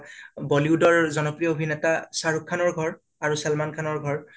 bollywood ৰ জনপ্ৰিয় আভিনেতা অ শাহৰুখ খানৰ ঘাৰ আৰু চালমান খানৰ ঘৰ